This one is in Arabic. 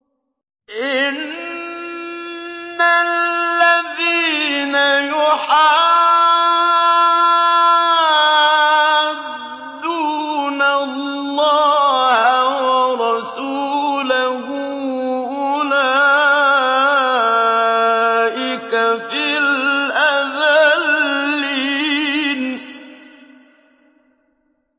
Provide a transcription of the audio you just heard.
إِنَّ الَّذِينَ يُحَادُّونَ اللَّهَ وَرَسُولَهُ أُولَٰئِكَ فِي الْأَذَلِّينَ